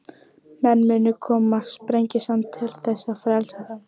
Menn munu koma Sprengisand til þess að frelsa þá.